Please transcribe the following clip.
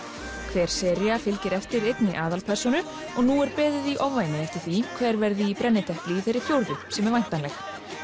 hver sería fylgir eftir einni aðalpersónu og nú er beðið í ofvæni eftir því hver verði í brennidepli í þeirri fjórðu sem er væntanleg